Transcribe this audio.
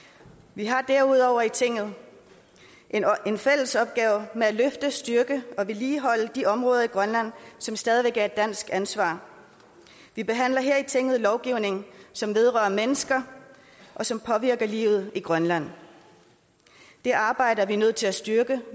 vi har derudover her i tinget en fælles opgave med at løfte styrke og vedligeholde de områder i grønland som stadig væk er et dansk ansvar vi behandler her i tinget lovgivning som vedrører mennesker og som påvirker livet i grønland det arbejde er vi nødt til at styrke